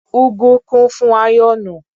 .Ugwu kún fún áyọ́nù.